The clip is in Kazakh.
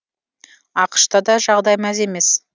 ақш та да жағдай мәз емес